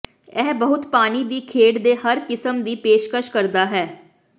ਇਹ ਬਹੁਤ ਪਾਣੀ ਦੀ ਖੇਡ ਦੇ ਹਰ ਕਿਸਮ ਦੇ ਦੀ ਪੇਸ਼ਕਸ਼ ਕਰਦਾ ਹੈ